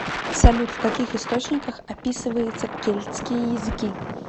салют в каких источниках описывается кельтские языки